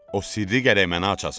O sirri gərək mənə açasan.